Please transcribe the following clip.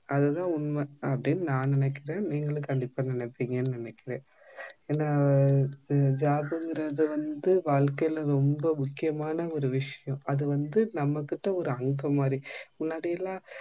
அதுதான் உண்மை அப்டினு நான் நினைக்குற நீங்களும் கண்டிப்பா நினைப்பிங்கனு நினைக்கிறன். ஏன்னா job கிறது வந்து வாழ்க்கைல ரொம்ப முக்கியமான ஒரு விஷயம் அது வந்து நம்மகிட்ட ஒரு அங்கம் மாதிரி முன்னாடிலாம்